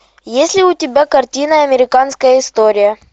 есть ли у тебя картина американская история